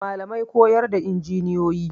Malamai koyar da injiniyoyi